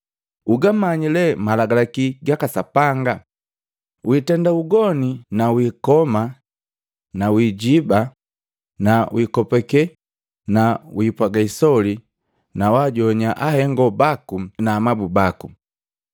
Ugamanyi lee Malagalaki gaka Sapanga, ‘Witenda ugoni na wikoma na wijiiba na wikopake na wipwaga isoli na wajoannya ahengo baku na amabu baku.’ ”